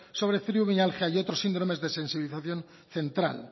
sobre fibromialgia y otros síndromes de sensibilización central